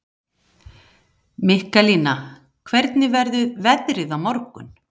Mikaelína, hvernig verður veðrið á morgun?